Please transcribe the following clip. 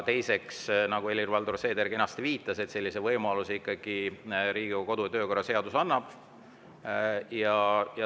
Teiseks, nagu Helir-Valdor Seeder kenasti viitas, sellise võimaluse Riigikogu kodu‑ ja töökorra seadus annab.